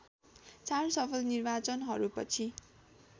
चार सफल निर्वाचनहरूपछि